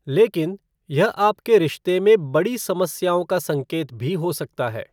लेकिन, यह आपके रिश्ते में बड़ी समस्याओं का संकेत भी हो सकता है।